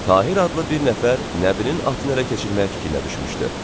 Tahir adlı bir nəfər Nəbinin atını ələ keçirmək fikrinə düşmüşdü.